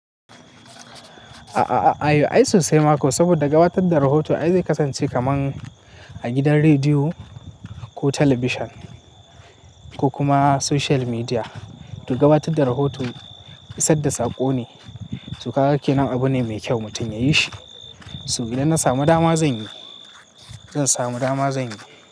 A'a, ayo ai sosai ma ko saboda gabatar da rahoto ai zai kasance kaman a gidan rediyo ko talabishin ko kuma social media. To gabatar da rahoto isar da saƙo ne, to kaga ke nan abu ne mai kyau mutum yayi shi. So idan na samu dama zan yi, zan samu dama zan yi.